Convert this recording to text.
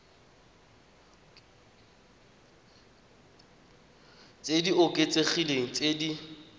tse di oketsegileng tse di